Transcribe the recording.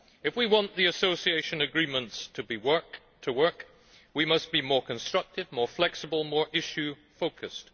If we want the association agreements to work, we must be more constructive, more flexible, more issue focused.